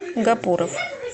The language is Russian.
гапуров